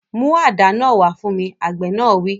Mú àdá náà wá fún mi! Àgbẹ̀ náà wí.